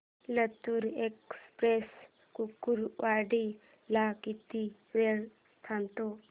Latur express Kurduwadi ला किती वेळ थांबते